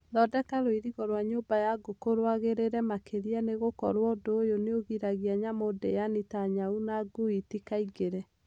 Thondeka rũirigo rwa nyũmba ya ngũkũ rwagĩrĩre makĩria nĩgũkorwo ũndũ ũyũ nĩũgiragia nyamũ ndĩani ta nyau na ngui itikaingĩre.